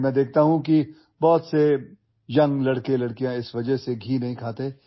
কিন্তু দেখিছোঁ বহু সৰু লৰাছোৱালীয়ে মোটা হোৱাৰ ভয়ত ঘিউ নাখায়